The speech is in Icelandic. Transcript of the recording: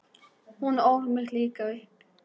Hún ól mig líka upp.